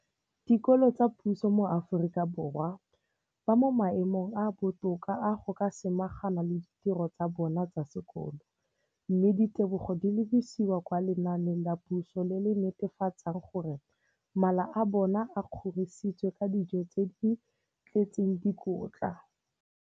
Dikolo tsa puso mo Aforika Borwa ba mo maemong a a botoka a go ka samagana le ditiro tsa bona tsa sekolo, mme ditebogo di lebisiwa kwa lenaaneng la puso le le netefatsang gore mala a bona a kgorisitswe ka dijo tse di tletseng dikotla.